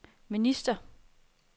minister